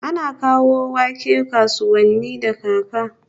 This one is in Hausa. Ana kawo wake kasuwanni da kaka